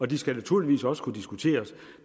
de skal naturligvis også kunne diskuteres